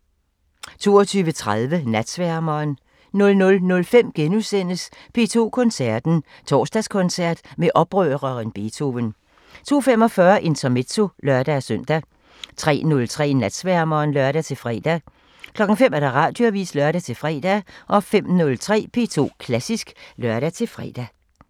22:30: Natsværmeren 00:05: P2 Koncerten – Torsdagskoncert med oprøreren Beethoven * 02:45: Intermezzo (lør-søn) 03:03: Natsværmeren (lør-fre) 05:00: Radioavisen (lør-fre) 05:03: P2 Klassisk (lør-fre)